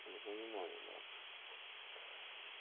понимаю марк